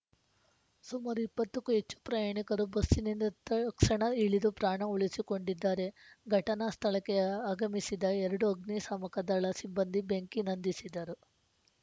ಸುಮಾರು ಇಪ್ಪತ್ತಕ್ಕೂ ಹೆಚ್ಚು ಪ್ರಯಾಣಿಕರು ಬಸ್‌ನಿಂದ ತಕ್ಸಣ ಇಳಿದು ಪ್ರಾಣ ಉಳಿಸಿಕೊಂಡಿದ್ದಾರೆ ಘಟನಾ ಸ್ಥಳಕ್ಕೆಯ ಆಗಮಿಸಿದ ಎರಡು ಅಗ್ನಿ ಸಾಮಕದಳ ಸಿಬ್ಬಂದಿ ಬೆಂಕಿ ನಂದಿಸಿದರು